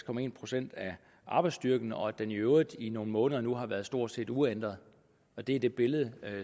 procent af arbejdsstyrken og at den i øvrigt i nogle måneder nu har været stort set uændret det er det billede